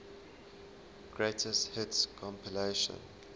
greatest hits compilation